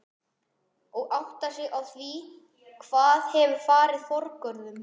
Og áttar sig á því hvað hefur farið forgörðum.